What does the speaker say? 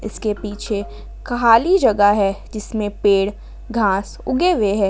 इसके पीछे खाली जगह है जिसमें पेड़ घास उगे हुए है।